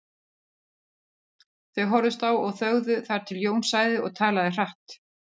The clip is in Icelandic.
Þau horfðust á og þögðu þar til Jón sagði og talaði hratt